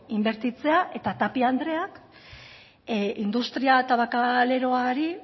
inbertitzea eta tapia andreak industria tabakaleroari